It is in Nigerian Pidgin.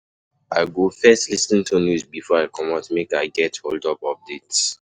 I go first lis ten to news before I comot make I get holdup updates.